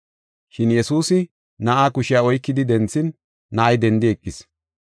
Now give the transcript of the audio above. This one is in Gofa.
Shin Yesuusi na7aa kushiya oykidi denthin, na7ay dendi eqis.